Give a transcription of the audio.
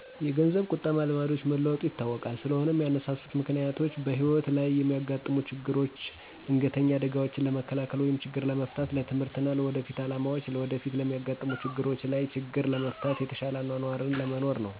የገንዘብ ቁጠበ ልማዶች መለወጡ ይታወቃል ስለሆነም ያነሳሱት ምክንያቶችም በህይወት ለይ የሚያጋጥሙ ችግሮች ድንገተኛ አደጋዎችን ለመከላከል ወይም ችግር ለመፍታት፣ ለትምህርት እና ለወደፊት አላማዎች፣ ለወደፊት ለሚያጋጥሙ ችግሮች ለይ ችግር ለመፍታት፣ የተሸለ አኗኗር ለመኖር ነው